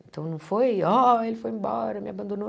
Então, não foi, ó, ele foi embora, me abandonou.